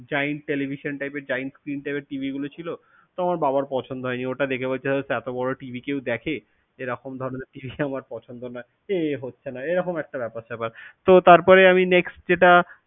Giant television type এর giant screen type এর TV গুলো ছিল। তো আমার বাবার পছন্দ হয়নি, ওটা দেখে বলছে, হোস এত বড়ো TV কেউ দেখে? এরকম ধরনের TV তো আমার পছন্দ নয়। এ হচ্ছে না, এই রকম একটা ব্যাপার সেপার। তো তারপরে আমি next যেটা,